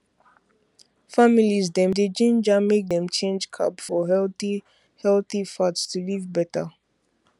families dem dey ginger make dem change carb for healthy healthy fat to live better